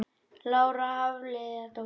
Lára Hafliðadóttir